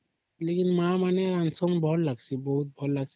ମା ମାନେ କରିଛନ ଭଲ ଲାଗୁଚି ବହୁତ